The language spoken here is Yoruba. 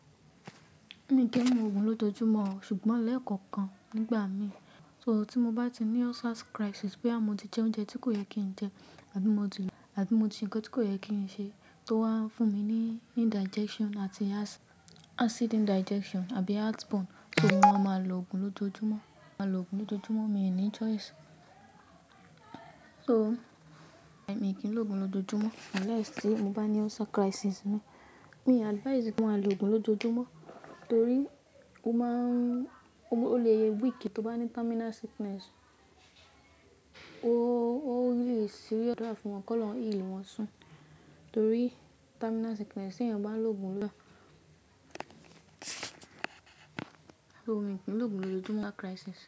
Mi kì í mu òògùn lójoojúmọ́, ṣùgbọ́n lẹ́kọ̀ọ̀kan nígbà mi, tí mo bá ti ní ulcer crisis bóyá mo ti jẹ oúnjẹ tí kò yẹ kí n jẹ àbí mo di àbí mo di nǹkan tí kò yẹ kí n ṣe tó wá ń fún mi ní indigestion àti acid indigestion àbí heartburn, tòun a máa lo òògùn lójoojúmọ́, máa lo òògùn lójoojúmọ́, mi ò ní choice. So, mi kì í lo òògùn lójoojúmọ́, unless tí mo bá ní ulcer crisis mi. Mi advise pé máa lo òògùn lójoojúmọ́ torí o máa n-- ó lè ye week tó bá ní terminal sickness, ó lè serious, mó gbàdúrà fún wọn kí Ọlọhun heal wọn soon torí terminal sickness tí ẹ̀yàn bá ń lo òògùn lọ́la. Rárá mi So mi kí n lo òògùn lójoojúmọ́ unless crisis.